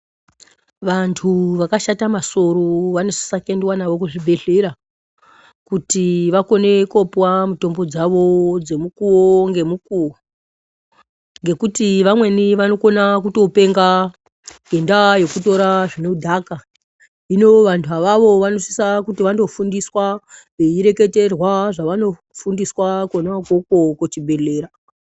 Vantu vakashata masoro vanosisa kwendewa navo kuzvibhedhlera kuti vakone kupuwa mitombo dzawo dzemukuwo ngemukuwo ngekuti vamweni vanokona kutopenga ngenda yekutora zvinodhaka. Hino vantu avavo vanosisa kuti vandofundiswa veireketerwa zvavanofundiswa kona ukoko kuchibhedhlera.